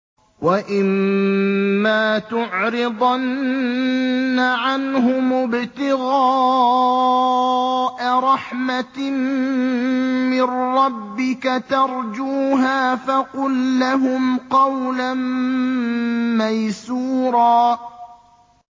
وَإِمَّا تُعْرِضَنَّ عَنْهُمُ ابْتِغَاءَ رَحْمَةٍ مِّن رَّبِّكَ تَرْجُوهَا فَقُل لَّهُمْ قَوْلًا مَّيْسُورًا